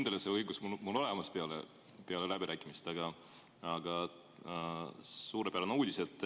Ma ei olnud kindel, et mul see õigus on peale läbirääkimist, aga suurepärane uudis.